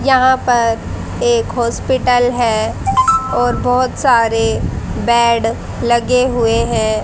यहां पर एक हॉस्पिटल है और बहोत सारे बैड लगे हुए हैं।